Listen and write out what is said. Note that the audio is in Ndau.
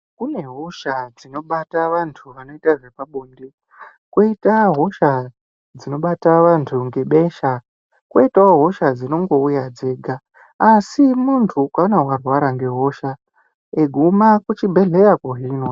Kune hosha dzinobata vantu vanoita zvepabonde, kwoita hosha dzinobata vantu ngebesha, kwoitawo hosha dzinongouya dzega. Asi muntu ukaona warwara ngehosha,e guma kuchibhedhlera kohinwa.